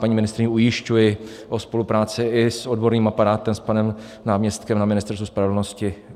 Paní ministryni ujišťuji o spolupráci i s odborným aparátem, s panem náměstkem na Ministerstvu spravedlnosti.